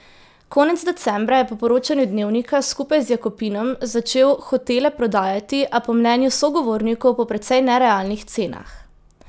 Konec decembra je po poročanju Dnevnika skupaj z Jakopinom začel hotele prodajati, a po mnenju sogovornikov po precej nerealnih cenah.